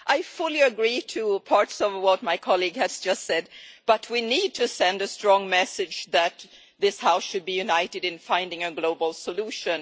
I fully agree with parts of what my colleague has just said, but we need to send a strong message that this House should be united in finding a global solution.